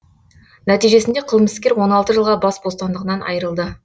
нәтижесінде қылмыскер он алты жылға бас бостандығынан айырылды